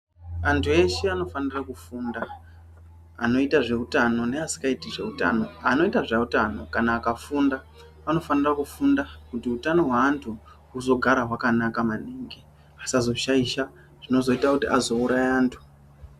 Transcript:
Antu eshe anofanira kufunda, anoita zveutano neasikaiti zveutano. Anoita zveutano kana akafunda anofanira kufunda kuti utano hweantu huzogara hwakanaka maningi. Vasazoshaisha zvinozoita kuti azouraya antu.